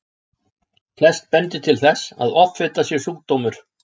Flest bendir til þess að offita sé sjúkdómur.